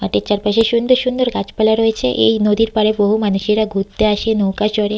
মাঠের চারপাশে সুন্দর সুন্দর গাছপালা রয়েছে এই নদীর পারে বহু মানুষেরা ঘুরতে আসে নৌকা চড়ে।